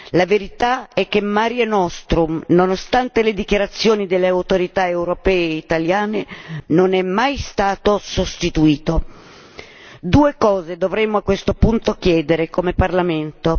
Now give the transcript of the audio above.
La verità è che Mare Nostrum, nonostante le dichiarazioni delle autorità europee e italiane, non è mai stato sostituito. Due cose dovremmo a questo punto chiedere come Parlamento.